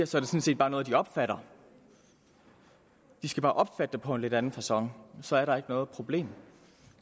sådan set bare noget de opfatter og de skal bare opfatte det på en lidt anden facon så er der ikke noget problem